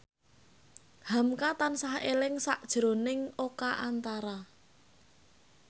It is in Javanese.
hamka tansah eling sakjroning Oka Antara